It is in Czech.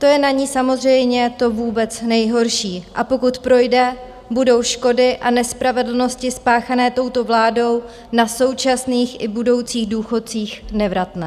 To je na ní samozřejmě to vůbec nejhorší, a pokud projde, budou škody a nespravedlnosti spáchané touto vládou na současných i budoucích důchodcích nevratné.